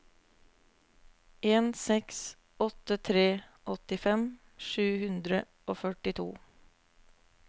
en seks åtte tre åttifem sju hundre og førtito